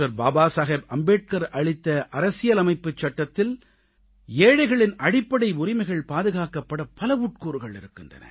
பாபாசாகேப் அம்பேத்கர் அளித்த அரசியலமைப்புச் சட்டத்தில் ஏழைகளின் அடிப்படை உரிமைகள் பாதுகாக்கப்பட பல உட்கூறுகள் இருக்கின்றன